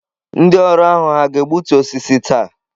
Ndị ọrụ ahụ hà ga-egbutu osisi taa?